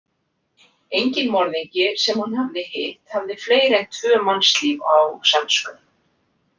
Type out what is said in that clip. Enginn morðingi sem hann hafði hitt hafði fleiri en tvö mannslíf á samviskunni.